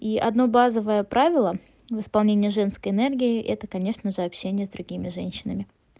и одну базовое правило в исполнении женской энергии это конечно же общение с другими женщинами